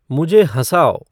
मुझे हँसाओ